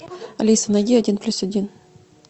алиса найди один плюс один